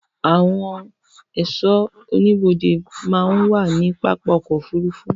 ạwon ẹ̀sọ́ oníbodè màà ń wa ni papá ọ̀kọ̀ ofúrúfú